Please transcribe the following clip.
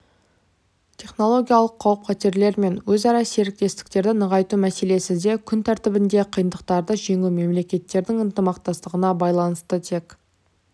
технологиялық қауіп-қатерлер мен өзара серіктестікті нығайту мәселесі де күн тәртібінде қиындықтарды жеңу мемлекеттердің ынтымақтастығына байланысты тек